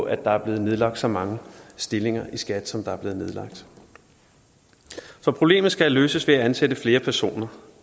at der er blevet nedlagt så mange stillinger i skat som der er blevet nedlagt så problemet skal løses ved at ansætte flere personer